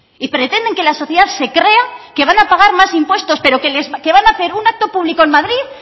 y pretenden que la sociedad se crea que van a pagar más impuestos pero que van a hacer un acto público en madrid